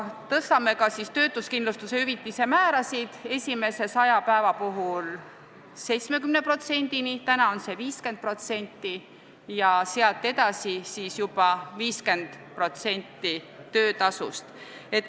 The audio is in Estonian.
Tõstaksime ka töötuskindlustushüvitise määrasid: esimese 100 päeva puhul 70%-ni – praegu on see 50% – ja sealt edasi 50% töötasust.